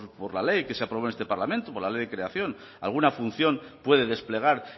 por la ley que se aprobó en este parlamento por la ley de creación alguna función puede desplegar